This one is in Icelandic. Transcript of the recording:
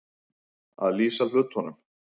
Að lýsa hlutunum